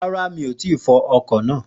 Ràrà, mí ò tí fọ ọkọ̀ náà